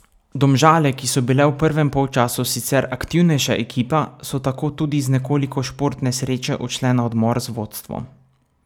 Domžale, ki so bile v prvem polčasu sicer aktivnejša ekipa, so tako tudi z nekoliko športne sreče odšle na odmor z vodstvom.